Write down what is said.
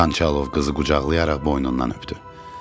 Xançalov qızı qucaqlayaraq boynundan öpdü.